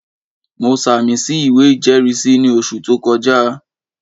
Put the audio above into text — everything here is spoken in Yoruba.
Mo sàmì sí ìwé ìjẹ́rìísí ní oṣù tó kọjá